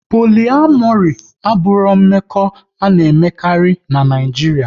Poliamori abụghị mmekọ a na-emekarị n'Naijiria